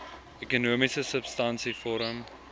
ekonomiese substansie vorm